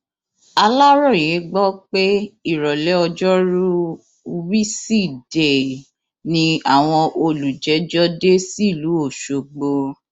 aláròye gbọ pé ìrọlẹ ọjọrùú wísidee ni àwọn olùjẹjọ dé sílùú ọṣọgbó